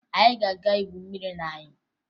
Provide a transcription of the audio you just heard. Anyị na-aga igwu mmiri n'anyịm